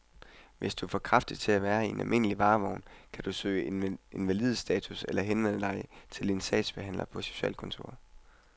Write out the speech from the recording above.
Hvis du er for kraftig til at være i en almindelig varevogn, kan du kan søge invalidestatus eller henvende dig til din sagsbehandler på socialkontoret.